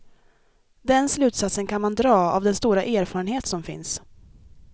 Den slutsatsen kan man dra av den stora erfarenhet som finns.